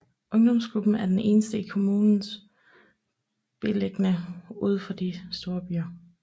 Ungdomsklubben er den eneste i kommunen beliggende udenfor de større byer